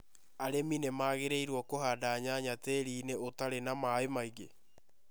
Arĩmi nĩ magĩrĩirũo kũhanda nyanya tĩĩri-inĩ ũtarĩ na maĩ maingĩ.